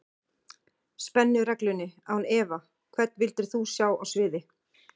Spennu-reglunni án efa Hvern vildir þú sjá á sviði?